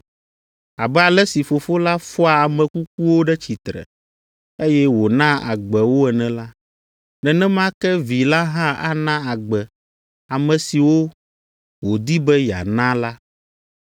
Abe ale si Fofo la fɔa ame kukuwo ɖe tsitre, eye wònaa agbe wo ene la, nenema ke Vi la hã ana agbe ame siwo wòdi be yeana la.